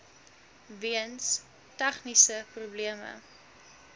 weens tegniese probleme